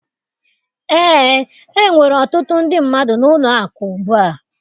Ee, enwere ọtụtụ ndị mmadụ n'ụlọ akụ ugbu a